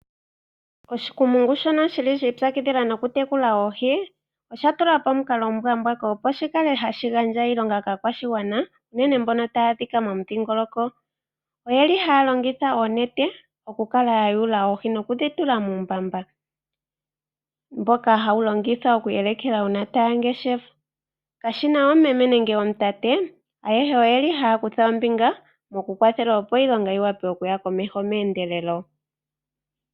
Oshikumungu shono shi li shi ipyakidhila nokutekula oohi, osha tula po omukalo omuwanawa opo shi kale hashi gandja iilonga kaakwashigwana, unene mboka taya adhika momudhingoloko. Oyeli haya longitha oonete okukala ya yula oohi, noku dhi tula muumbamba, mboka haya longitha okuyeleka uuna taya ngeshefa. Kashi na omumeme nenge omutate, ayehe oye li haya kutha ombinga mokukwathela opo iilonga yi vule okuya komeho meendelelo.